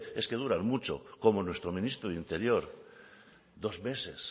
es que duran mucho como nuestro ministro de interior dos meses